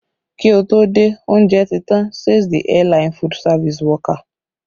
Kí ó tó dé, oúnjẹ ti tàn, says the airline food service worker